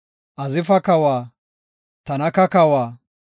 Tanaka kawa, Magido kawa,